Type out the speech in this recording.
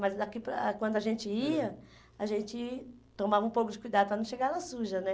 Mas daqui para ah quando a gente ia, a gente tomava um pouco de cuidado para não chegar lá suja, né?